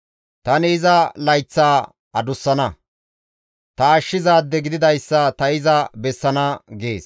Tani iza layththaa adussana; ta ashshizaade gididayssa ta iza bessana» gees.